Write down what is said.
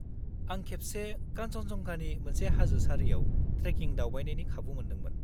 -आं खेबसे कान्चनजंगानि मोनसे हाजो सारियाव ट्रेकिं दावबायनायनि खाबु मोनदोंमोन।